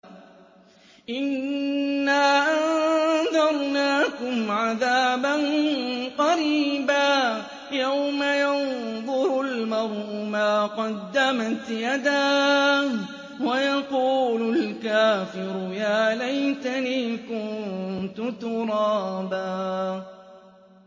إِنَّا أَنذَرْنَاكُمْ عَذَابًا قَرِيبًا يَوْمَ يَنظُرُ الْمَرْءُ مَا قَدَّمَتْ يَدَاهُ وَيَقُولُ الْكَافِرُ يَا لَيْتَنِي كُنتُ تُرَابًا